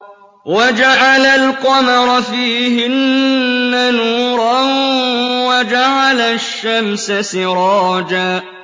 وَجَعَلَ الْقَمَرَ فِيهِنَّ نُورًا وَجَعَلَ الشَّمْسَ سِرَاجًا